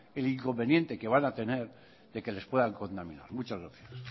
el inconveniente que van a tener de que les puedan contaminar muchas gracias